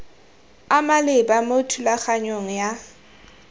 a maleba mo thulaganyong ya